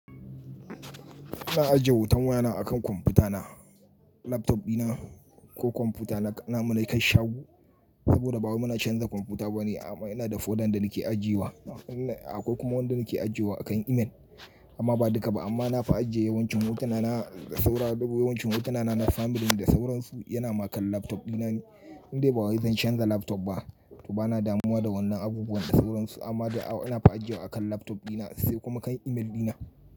Na ajiye hoton wayana a kan kwamfuta na. Laptop dina ko kwamfuta na, na, muna yi kan shago. Saboda ba wai muna canza kwamfuta ba ne. Amma ana da folder da nake ajiye wa. Akwai kuma wanda nake ajiye wa akan email. Amma ba duka ba amma na fi ajiye yawancin hotuna na da saura yawancin hotuna na, na family da sauransu yana ma kan laptop dina ne. Indai ba wai zan canza laptop ba. To ba na damuwa da wannan abubuwan da sauransu amma da auna fa ajiye wa akan laptop dina sai kuma kan email dina.